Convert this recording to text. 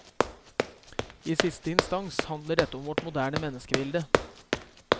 I siste instans handler dette om vårt moderne menneskebilde.